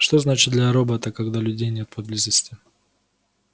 что значит для робота когда людей нет поблизости